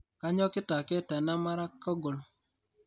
Kanyokita ake tanamara kogol